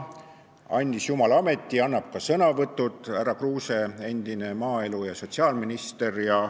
Andis jumal ameti, annab ka sõnavõtud, härra Kruuse, endine maaeluminister ja sotsiaalminister.